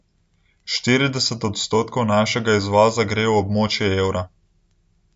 Štirideset odstotkov našega izvoza gre v območje evra.